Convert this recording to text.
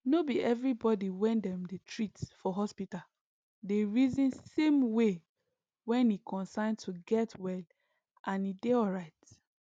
nor be everybody when dem dey treat for hospital dey reason same way when e concern to get well and e dey alright